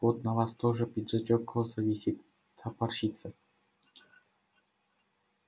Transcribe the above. вот на вас тоже пиджачок косо висит топорщится